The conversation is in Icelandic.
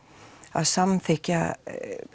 að samþykja